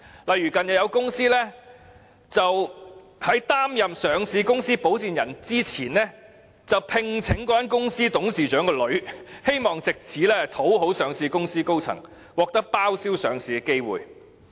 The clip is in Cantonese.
例如近日有公司在擔任上市公司保薦人之前，聘請了該公司董事長的女兒，希望藉此討好上市公司高層，獲得包銷上市的機會。